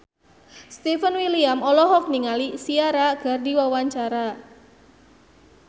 Stefan William olohok ningali Ciara keur diwawancara